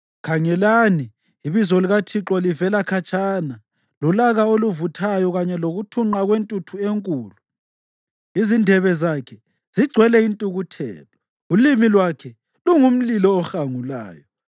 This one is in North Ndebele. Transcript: Khangelani, ibizo likaThixo livela khatshana, lolaka oluvuthayo kanye lokuthunqa kwentuthu enkulu; izindebe zakhe zigcwele intukuthelo, ulimi lwakhe lungumlilo ohangulayo.